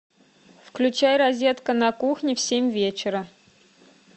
включай розетка на кухне в семь вечера